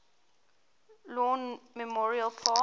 lawn memorial park